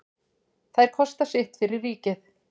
Þær kosta sitt fyrir ríkið.